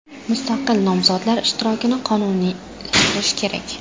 Mustaqil nomzodlar ishtirokini qonuniylashtirish kerak”.